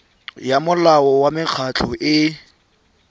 ya molao wa mekgatlho e